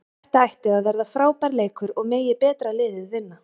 Þetta ætti að verða frábær leikur og megi betra liðið vinna.